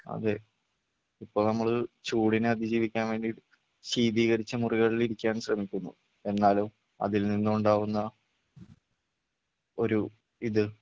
അതെ ഇപ്പോ നമ്മള് ചൂടിനെ അതിജീവിക്കാൻ വേണ്ടിയിട്ട് ശീതീകരിച്ച മുറികളിൽ ഇരിക്കാൻ ശ്രമിക്കുന്നു എന്നാലോ അതിൽ നിന്നും ഉണ്ടാകുന്ന ഒരു ഇത്